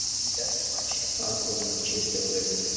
трансляция матча апл манчестер лестер